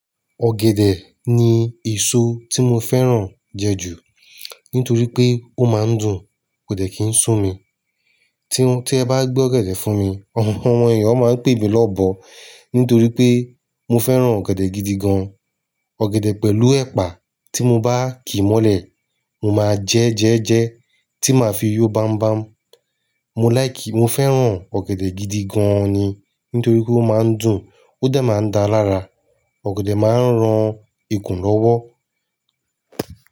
Ọ̀gẹ̀dẹ̀ ni èso tí mo fẹ́ràn jẹ jù nítorí pé ó máa ń dùn, kò dẹ̀ kí ń sún mi. Tí ẹ bá gbé ọ̀gẹ̀dẹ̀ fún mi, àwọn èèyàn máa ń pè mí lọ́bọ nítorí pé mo fẹ́ràn ọ̀gẹ̀dẹ̀ gidi gan. Ọ̀gẹ̀dẹ̀ pẹ̀lú ẹ̀pà tí mo bá ki mọ́lẹ̀, mo máa jẹ jẹ́jẹ́ tí màá fi yó bam bam. Mo láì kí, mo fẹ́ràn ọ̀gẹ̀dẹ̀ gidi gan ni nítorí pé ó máa ń dùn, ó dà máa ń da lára, ọ̀gẹ̀dẹ̀ máa ń ran ikùn lọ́wọ́.